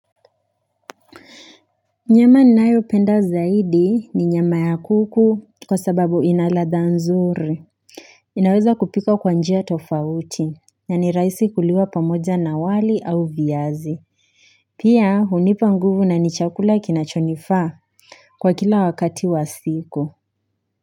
Nyama ninayo penda zaidi ni nyama ya kuku kwa sababu inaladha nzuri inaweza kupika kwa njia tofauti, ni raisi kuliwa pamoja na wali au viazi Pia hunipa nguvu na nichakula kinachonifa kwa kila wakati wa siku.